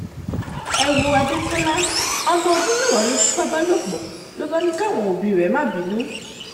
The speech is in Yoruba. ẹ wo adékọlá ọ̀mọ̀ọ́ndún mẹ́wàá ló fipá bá lò pọ̀ ló bá ní káwọn òbí rẹ̀ má bínú